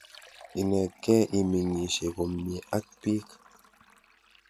Inetkei imeng'isye komnye ak piik.